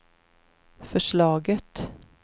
förslaget